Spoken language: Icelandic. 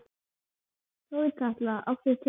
Þorkatla, áttu tyggjó?